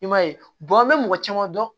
I m'a ye an be mɔgɔ caman dɔn